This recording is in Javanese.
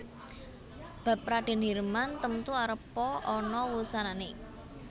Bab Radèn Hirman temtu arepa ana wusanané